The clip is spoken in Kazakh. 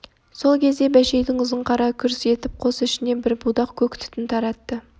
сол кезде бәшейдің ұзын қара күрс етіп қос ішіне бір будақ көк түтін таратты